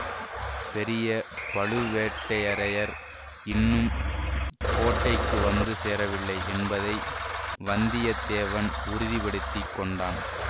பெரிய பழுவேட்டரையர் இன்னும் கோட்டைக்கு வந்து சேரவில்லை என்பதை வந்தியத்தேவன் உறுதி படுத்தி கொண்டான்